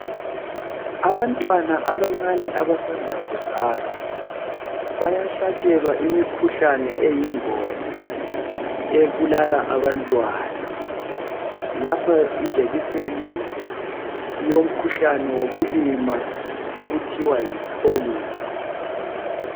Abantwana abancani abasanda kuzalwa bayahlatshelwa imikhuhlana ebulala abantwana lapha ijekiseni yomkhuhlane wobulima okuthiwa yiPolio